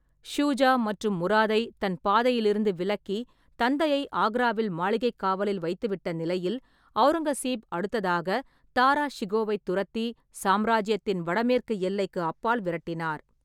ஷுஜா மற்றும் முராதை தன் பாதையிலிருந்து விலக்கி தந்தையை ஆக்ராவில் மாளிகைக் காவலில் வைத்துவிட்ட நிலையில், அவுரங்கசீப் அடுத்ததாக தாரா ஷிகோவை துரத்தி சாம்ராஜ்யத்தின் வடமேற்கு எல்லைக்கு அப்பால் விரட்டினார்.